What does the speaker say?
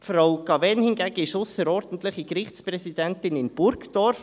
Frau Cavegn hingegen ist ausserordentliche Gerichtspräsidentin in Burgdorf;